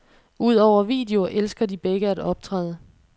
Udover video elsker de begge at optræde.